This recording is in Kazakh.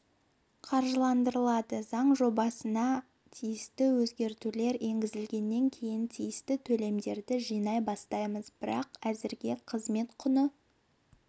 қаржыландырылады заң жобасына тиісті өзгертулер енгізілгеннен кейін тиісті төлемдерді жинай бастаймыз бірақ әзірге қызмет құны